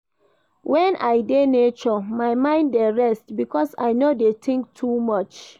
Wen I dey nature, my mind dey rest because I no dey tink too much.